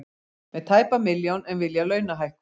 Með tæpa milljón en vilja launahækkun